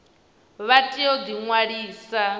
vha tea u ḓi ṅwalisa